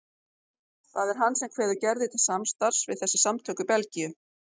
Það er hann sem kveður Gerði til samstarfs við þessi samtök í Belgíu.